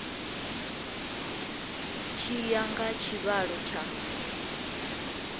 tshi ya nga tshivhalo tsha